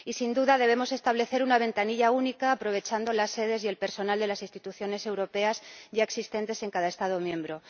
Y, sin duda, debemos establecer una ventanilla única aprovechando las sedes y el personal de las instituciones europeas ya existentes en cada Estado miembro.